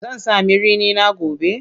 Zan sami rini na gobe?